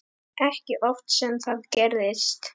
Ekki oft sem það gerist.